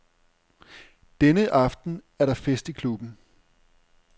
Denne aften er der fest i klubben.